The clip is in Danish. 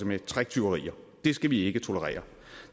med tricktyverier det skal vi ikke tolerere